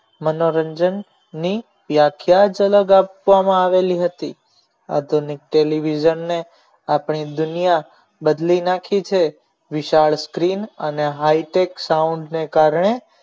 મનોરંજન ની વ્યાખ્યા જ અલગ આપવામાં આવેલી હતી આધુનિક television ને આપણી દુનિયા બદલી નાખી છે વિશાળ screen અને High Tech Sound ને કારણે